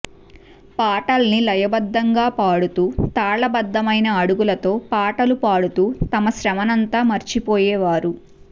పాటల్ని లయ బద్ధంగా పాడుతూ తాళ బద్ధమైన అడుగులతో పాటలు పాడుతూ తమ శ్రమనంతా మర్చి పోయేవారు